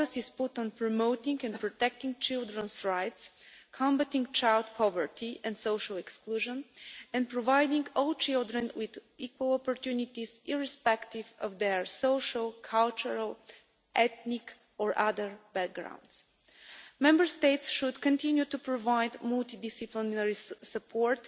The focus has been put on promoting and protecting children's rights, combating child poverty and social exclusion and providing all children with equal opportunities, irrespective of their social, cultural, ethnic or other backgrounds. Member States should continue to provide multi disciplinary support